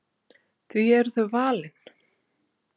Því eru þau valin?